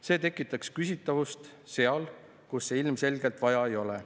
See tekitaks küsitavust seal, kus seda ilmselgelt vaja ei ole.